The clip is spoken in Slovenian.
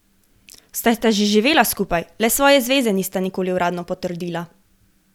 Saj sta že živela skupaj, le svoje zveze nista nikoli uradno potrdila.